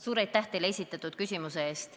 Suur aitäh teile esitatud küsimuse eest!